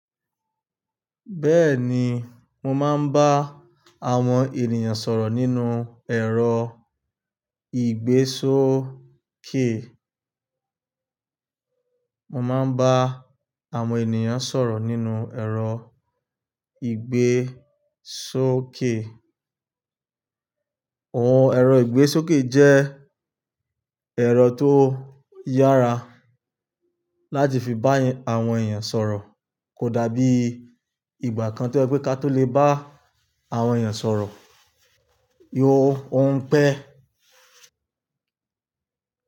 Bẹ́ẹ̀ni, mo máa ń bá àwọn ènìyàn sọ̀rọ̀ nínú ẹ̀rọ ìgbésókè. Mo máa ń bá àwọn ènìyàn sọ̀rọ̀ nínú ẹ̀rọ ìgbésókè. Ohun ẹ̀rọ ìgbésókè jẹ́ ẹ̀rọ tó yára láti fi bá àwọn èèyàn sọ̀rọ̀, kò dàbí ìgbà kan tí ó jẹ pé ká tó lè bá àwọn èèyàn sọ̀rọ̀. Yo, ó ń pẹ́